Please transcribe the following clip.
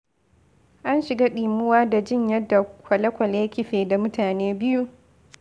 An shiga ɗimuwa da jin yadda kwale-kwale ya kife da mutane biyu.